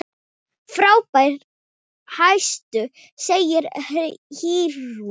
Frábær hestur, segir Eyrún Ýr.